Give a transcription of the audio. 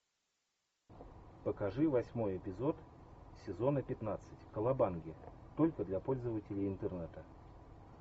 покажи восьмой эпизод сезона пятнадцать колобанги только для пользователей интернета